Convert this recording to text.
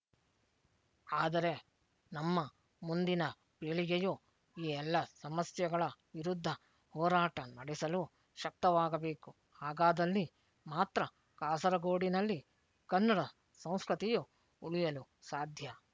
ಆದರೆ ನಮ್ಮ ಮುಂದಿನ ಪೀಳಿಗೆಯು ಈ ಎಲ್ಲ ಸಮಸ್ಯೆಗಳ ವಿರುದ್ಧ ಹೋರಾಟ ನಡೆಸಲು ಶಕ್ತವಾಗಬೇಕು ಹಾಗಾದಲ್ಲಿ ಮಾತ್ರ ಕಾಸರಗೋಡಿನಲ್ಲಿ ಕನ್ನಡ ಸಂಸ್ಕೃತಿಯು ಉಳಿಯಲು ಸಾಧ್ಯ